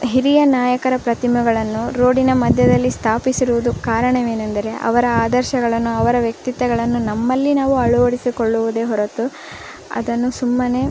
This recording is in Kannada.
ಹಿರಿಯ ನಾಯಕರ ಪ್ರತಿಮೆಗಳನ್ನು ರೋಡಿನ ಮದ್ಯದಲ್ಲಿ ಸ್ಥಾಪಿಸಿರುವುದು ಕಾರಣ ವೇನೆಂದರೆ ಅವರ ಆದರ್ಶಗಳನ್ನು ಅವರ ವ್ಯಕ್ತಿತ್ವಗಳನ್ನು ನಮ್ಮಲ್ಲಿ ನಾವು ಅಳವಡಿಯಿಕೊಳ್ಳೋದೇ ಹೊರತು ಅದನ್ನು ಸುಮ್ಮನೆ --